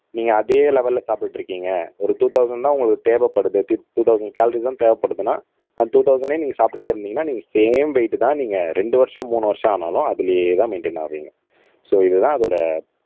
நீங்க அதே லெவல்ல சாப்பிட்டுட்டு இருக்கீங்க ஒரு டூ தொளசண்ட் தான் உங்களுக்கு தேவைப்படுது டூ தொளசண்ட் கலோரிஸ் தான் தேவைப்படுதுன்னா அந்த டூ தொளசண்ட்டே நீங்க சாப்பிட்டுட்டே இருந்தீங்கன்னா நீங்க சேம் வெயிட் தான் நீங்க ரெண்டு வருஷம் மூணு வருஷம் ஆனாலும் அதிலேயேதான் மைண்டைன் ஆவீங்க சோ இதுதான் அதோட